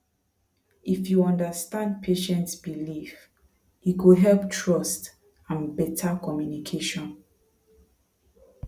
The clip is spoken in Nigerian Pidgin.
if you understand patient belief e go help trust and better communication